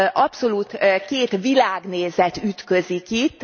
Abszolút két világnézet ütközik itt.